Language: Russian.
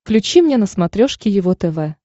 включи мне на смотрешке его тв